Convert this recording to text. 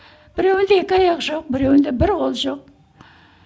біреуінде екі аяқ жоқ біреуінде бір қол жоқ